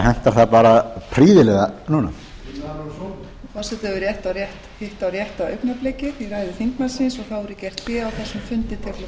hentar það bara prýðilega núna forseti hefur hitt á rétta augnablikið í ræðu þingmannsins og þá verður gert hlé á þessum fundi til klukkan hálftvö